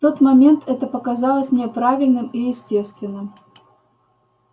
в тот момент это показалось мне правильным и естественным